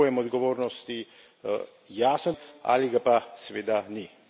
Ali je pojem odgovornosti jasno definiran ali pa ga seveda ni.